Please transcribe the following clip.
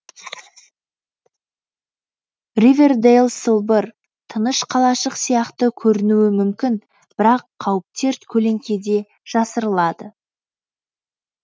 ривердэйл сылбыр тыныш қалашық сияқты көрінуі мүмкін бірақ қауіптер көлеңкеде жасырылады